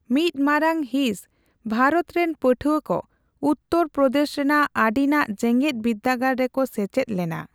ᱢᱤᱫ ᱢᱟᱨᱟᱝ ᱦᱤᱸᱥ ᱵᱷᱟᱨᱚᱛ ᱨᱮᱱ ᱯᱟᱹᱴᱷᱣᱟᱹ ᱠᱚ ᱩᱛᱛᱚᱨ ᱯᱨᱚᱫᱮᱥ ᱨᱮᱱᱟᱜ ᱟᱹᱰᱤᱱᱟᱜ ᱡᱮᱜᱮᱫ ᱵᱤᱨᱫᱽᱟᱹᱜᱟᱲ ᱨᱮᱠᱚ ᱥᱮᱪᱮᱫ ᱞᱮᱱᱟ ᱾